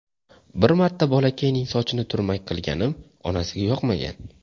Bir marta bolakayning sochini turmak qilganim onasiga yoqmagan.